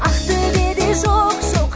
ақтөбеде жоқ жоқ